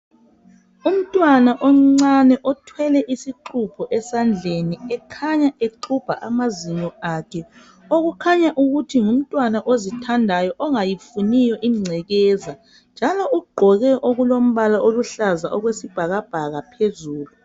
Umntwana omncane othwele isixubho esandleni ekhanya exubha amazinyo akhe okukhanya ukuthi ngumntwana ozithandayo ongayifuniyo ingcekeza njalo ugqoke okulombala oluhlaza okwe sibhakabhaka phezulu.